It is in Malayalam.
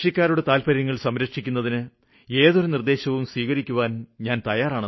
കൃഷിക്കാരുടെ താല്പര്യങ്ങള് സംരക്ഷിക്കുന്ന ഏതൊരു കാര്യവും സ്വീകരിക്കാന് ഞാന് തയ്യാറാണ്